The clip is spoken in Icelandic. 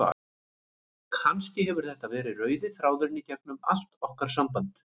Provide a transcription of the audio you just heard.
Kannski hefur þetta verið rauði þráðurinn í gegnum allt okkar samband.